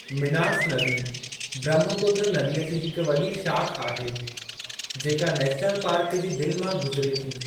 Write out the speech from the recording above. मिनास नदी ब्रह्मपुत्र नदीअ जी हिक वॾी शाख़ आहे, जेका नेशनल पार्क जी दिलि मां गुज़िरी थी।